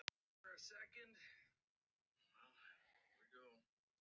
Kannski hafði þetta bara verið slæmur draumur.